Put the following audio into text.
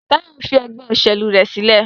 Tayo nfí ègbé òṣèlú rẹ sílẹ̀.